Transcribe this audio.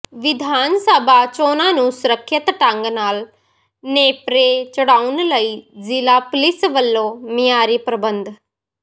ਵਿਧਾਨ ਸਭਾ ਚੋਣਾਂ ਨੂੰ ਸੁਰੱਖਿਅਤ ਢੰਗ ਨਾਲ ਨੇਪਰੇ ਚੜ੍ਹਾਉਣ ਲਈ ਜ਼ਿਲ੍ਹਾ ਪੁਲਿਸ ਵੱਲੋਂ ਮਿਆਰੀ ਪ੍ਰਬੰਧ